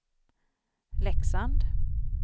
Leksand